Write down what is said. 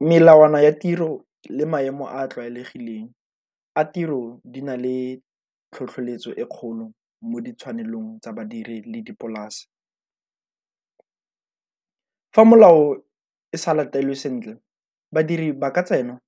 Melawana ya tiro le maemo a a tlwaelegileng a tiro di na le tlhotlheletso e kgolo mo ditshwanelo tsa badiri le dipolase. Fa molao e sa latelwe sentle, badiri ba ka tsena